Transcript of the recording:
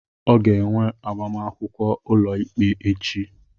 ọ ga-enwe agbamakwụkwọ ụlọikpe echi